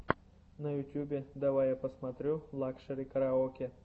на ютубе давай я посмотрю лакшери караоке